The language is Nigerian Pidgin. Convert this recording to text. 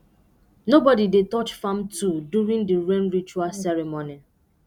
nobody dey touch farm tool during the rain ritual ceremony